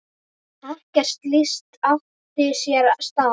Ekkert slíkt átti sér stað.